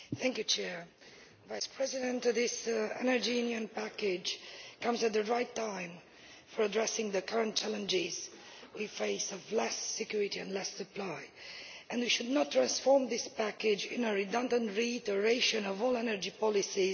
Mr President, this Energy Union package comes at the right time for addressing the current challenges we face of less security and less supply, and we should not transform this package into a redundant reiteration of all energy policies in place today.